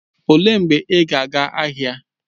Olee mgbe ị ga aga ahịa?